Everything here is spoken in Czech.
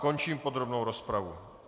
Končím podrobnou rozpravu.